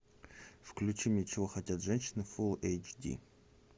включи мне чего хотят женщины фул эйч ди